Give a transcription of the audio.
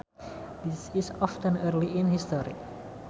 This is often early in history